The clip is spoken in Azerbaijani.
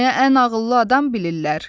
Məni ən ağıllı adam bilirlər.